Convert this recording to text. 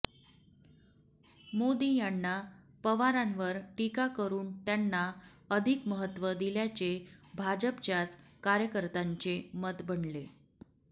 मोदी यांना पवारांवर टीका करुन त्यांना अधिक महत्व दिल्याचे भाजपच्याच कार्यकर्त्यांचे मत बनले